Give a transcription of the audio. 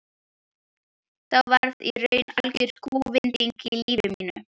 Þá varð í raun algjör kúvending á lífi mínu.